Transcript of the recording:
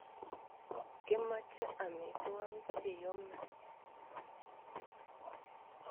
Kimoche amitwogik che yome.